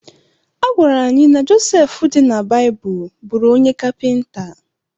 A gwara anyị na Joseph dị na Baịbụl bụụrụ onye kapịnta.